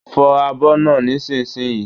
Fo abo náà nísinsìnyí!